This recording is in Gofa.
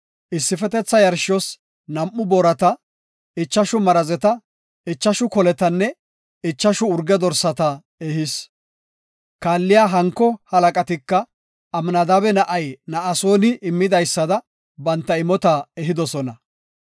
issifetetha yarshos nam7u boorata, ichashu marazeta, ichashu koletanne ichashu urge dorsata ehis. Kaalliya hanko halaqatika Amnadaabe na7ay Na7asooni immidaysada banta imota ehidosona.